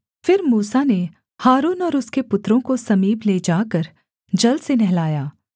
फिर मूसा ने हारून और उसके पुत्रों को समीप ले जाकर जल से नहलाया